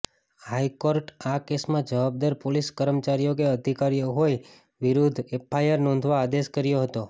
હાઇકોર્ટે આ કેસમાં જવાબદાર પોલીસ કર્મચારીઓ કે અધિકારીઓ હોય વિરૂધ્ધ એફઆઇઆર નોંધવા આદેશ કર્યો હતો